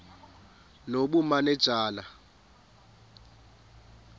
nobumanejala